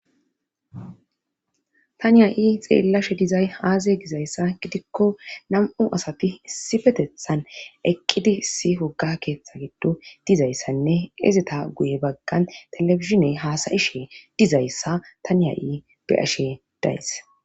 tani ha7i xeellashe dizay aazey gizayssa gidikko nam7u asati issi petethan eqqidi issi woga keeththa giddo dizayssanne izita guye baggan telefishiney haasayishe dizayssa tani ha7i be'ashe days.